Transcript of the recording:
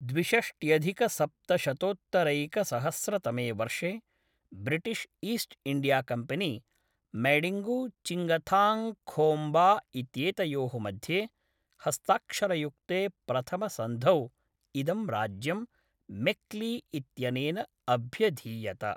द्विषष्ट्यधिकसप्तशतोत्तरैकसहस्रतमे वर्षे British East India Company Maidingu Chingthangkhomba इत्येतयोः मध्ये हस्ताक्षरयुक्ते प्रथमसन्धौ इदं राज्यं मेक्ली इत्यनेन अभ्यधीयत।